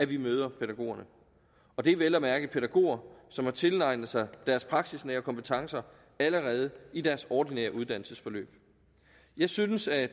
vi møder dem og det er vel at mærke pædagoger som har tilegnet sig deres praksisnære kompetencer allerede i deres ordinære uddannelsesforløb jeg synes at